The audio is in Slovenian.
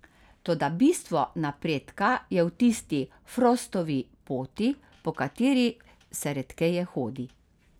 Toda bistvo napredka je v tisti Frostovi poti, po kateri se redkeje hodi.